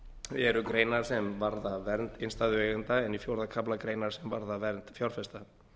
eru greinar sem varða vernd innstæðueigenda en í fjórða kafla greinar sem varða vernd fjárfesta